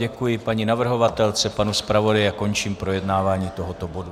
Děkuji paní navrhovatelce, panu zpravodaji a končím projednávání tohoto bodu.